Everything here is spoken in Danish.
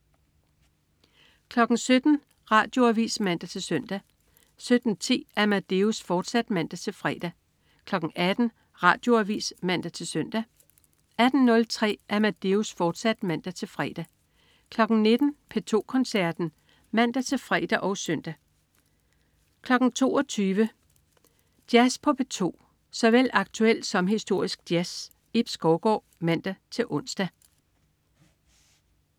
17.00 Radioavis (man-søn) 17.10 Amadeus, fortsat (man-fre) 18.00 Radioavis (man-søn) 18.03 Amadeus, fortsat (man-fre) 19.00 P2 Koncerten (man-fre og søn) 22.00 Jazz på P2. Såvel aktuel som historisk jazz. Ib Skovgaard (man-ons)